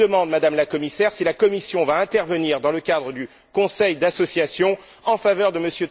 Je vous demande donc, Madame la Commissaire, si la Commission va intervenir, dans le cadre du conseil d'association, en faveur de M.